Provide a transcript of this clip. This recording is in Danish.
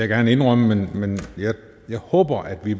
gerne indrømme men jeg håber at vi